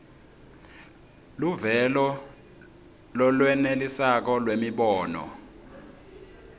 luvelo lolwenelisako lwemibono